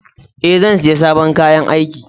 Ee, zan saya sabon kayan aiki.